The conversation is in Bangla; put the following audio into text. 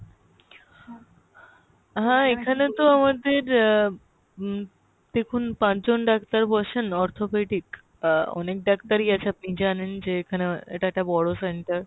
হ্যাঁ এখানে তো আমাদের আহ উম দেখুন পাঁচ জন ডাক্তার বসেন arthropathy আহ অনেক ডাক্তারই আছে জানেন যে এখানে এটা একটা বড়ো center